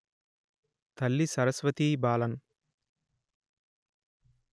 తల్లి సరస్వతీ బాలన్